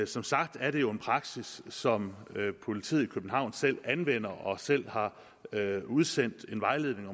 som sagt er det jo en praksis som politiet i københavn selv anvender og selv har udsendt en vejledning